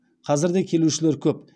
қазір де келушілер көп